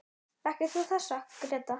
Þekkir þú þessa, Gréta?